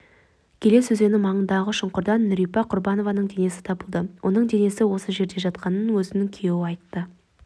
келес өзені маңындағы шұңқырдан нүрипа құрбанованың денесі табылды оның денесі осы жерде жатқанын өзінің күйеуі айтты